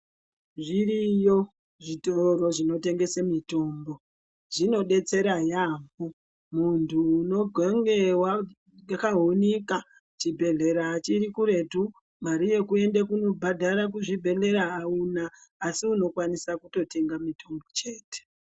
Zviriyo zvitoro zvinotengesa mitombo zvinodetsera yambo muntu unogonge wakahinika chibhedhlera chiri kuretu mare yekuenda kundobhadhara kuzvibhedhlera auna asi unokwanisa kutotenga mitombo chete.